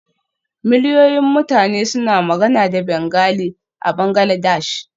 Miliyoyin mutane suna magana da Bengali a Bangladesh.